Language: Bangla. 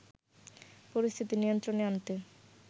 পরিস্থিতি নিয়ন্ত্রণে আনতে